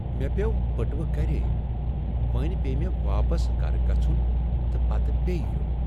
مےٚ پیوٚو بٔٹوٕ گری۔ وۄنۍ پیٚیہ مےٚ واپس گرٕ گژھن تہٕ پتہٕ بیٚیہ یُن۔